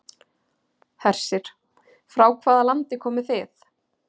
Hersir: Frá hvaða landi komið þið?